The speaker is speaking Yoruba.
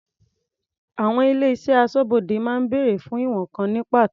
Àwọn ilé-iṣẹ́ aṣọ́bodè máa ń bèrè fún ìwọ̀n kan ní pàtó.